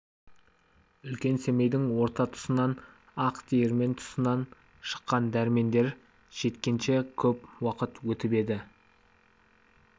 үлкен семейдің орта тұсынан ақ диірмен тұсынан шыққан дәрмендер жеткенше көп уақыт өтіп еді